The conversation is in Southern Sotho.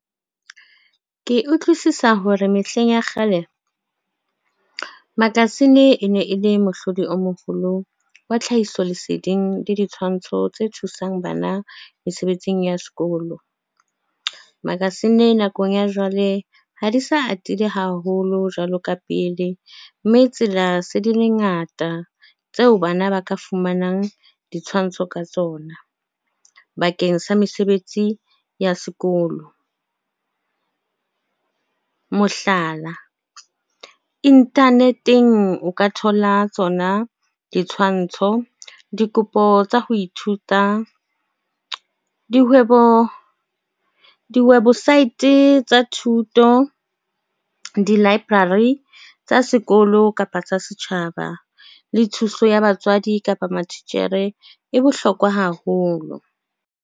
Ke utlwisisa hore mehleng ya kgale makasine e ne e le mohlodi o moholo wa tlhahiso leseding le ditshwantsho tse thusang bana mesebetsing ya sekolo. Makasine nakong ya jwale ha di sa atile haholo jwalo ka pele mme tsela se di le ngata tseo bana ba ka fumanang ditshwantsho ka tsona bakeng sa mesebetsi ya sekolo, mohlala, internet-eng o ka thola tsona ditshwantsho dikopo tsa ho ithuta di-website tsa thuto di library tsa sekolo kapa sa setjhaba le thuso ya batswadi kapa mathitjhere e bohlokwa haholo.